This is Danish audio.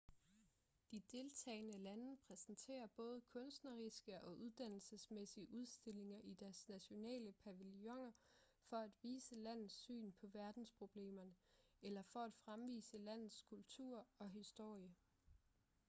de deltagende lande præsenterer både kunstneriske og uddannelsesmæssige udstillinger i deres nationale pavilloner for at vise landets syn på verdensproblemerne eller for at fremvise landets kultur og historie